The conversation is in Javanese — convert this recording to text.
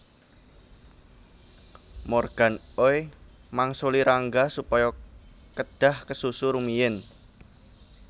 Morgan Oey mangsuli Rangga supaya kedhah kesusu rumiyin